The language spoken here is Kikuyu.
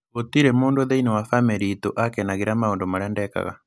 Gũtirĩ mũndũ thĩinĩ wa famĩlĩ iitũ wakenagĩra maũndũ marĩa ndeekaga.